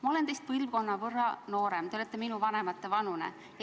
Ma olen teist põlvkonna võrra noorem, te olete minu vanemate vanune.